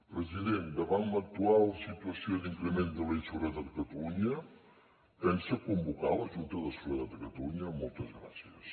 president davant l’actual situació d’increment de la inseguretat a catalunya pensa convocar la junta de seguretat de catalunya moltes gràcies